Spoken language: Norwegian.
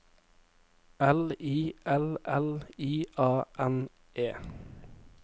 L I L L I A N E